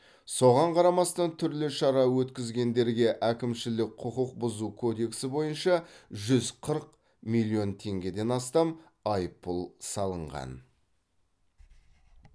соған қарамастан түрлі шара өткізгендерге әкімшілік құқық бұзу кодексі бойынша жүз қырық миллион теңгеден астам айыппұл салынған